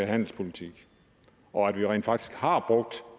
handelspolitik og at vi rent faktisk har brugt